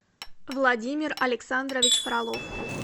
владимир александрович фролов